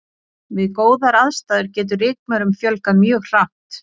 við góðar aðstæður getur rykmaurum fjölgað mjög hratt